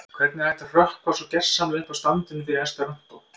Hvernig er hægt að hrökkva svo gersamlega upp af standinum fyrir esperantó?